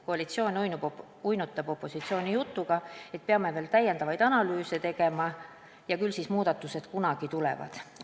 Koalitsioon uinutab opositsiooni jutuga, et peame veel analüüse tegema ja küll muudatused kunagi tulevad.